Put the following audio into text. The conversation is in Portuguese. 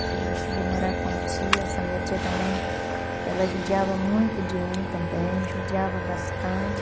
Qie cheguei a morar com a tia, essa minha tia também, ela judiava muito de mim também, judiava bastante.